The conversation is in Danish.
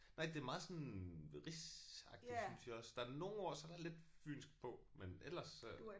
Nej det er meget sådan rigsagtigt synes jeg også. Der er nogle ord så er der lidt fynsk på men ellers øh